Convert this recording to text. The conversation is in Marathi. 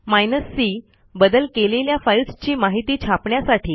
हायफेन c बदल केलेल्या फाईल्सची माहिती छापण्यासाठी